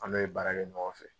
An bɛ ye baara kɛ ɲɔgɔn fɛ.